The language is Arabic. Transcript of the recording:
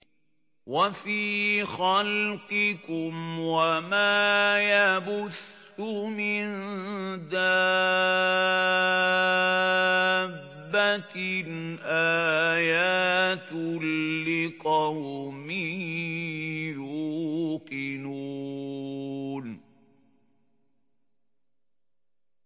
وَفِي خَلْقِكُمْ وَمَا يَبُثُّ مِن دَابَّةٍ آيَاتٌ لِّقَوْمٍ يُوقِنُونَ